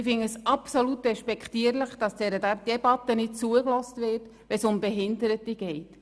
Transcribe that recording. Ich finde es absolut despektierlich, dass dieser Debatte nicht zugehört wird, wenn es um Behinderte geht.